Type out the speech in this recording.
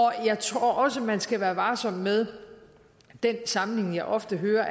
jeg tror også man skal være varsom med den sammenligning jeg ofte hører